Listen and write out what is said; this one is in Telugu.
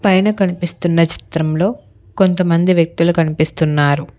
పైన కనిపిస్తున్న చిత్రంలో కొంతమంది వ్యక్తులు కనిపిస్తున్నారు.